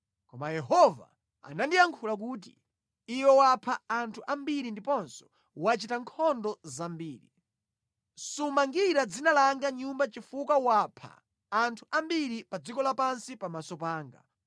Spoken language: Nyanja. Koma Yehova anandiyankhula kuti, ‘Iwe wapha anthu ambiri ndiponso wachita nkhondo zambiri. Sumangira dzina langa nyumba chifukwa wapha anthu ambiri pa dziko lapansi pamaso panga.